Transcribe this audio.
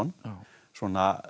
svona